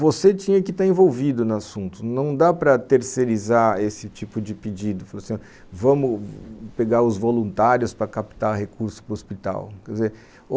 você tinha que estar envolvido no assunto, não dá para terceirizar esse tipo de pedido, vamos pegar os voluntários para captar recursos para o hospital, quer dizer,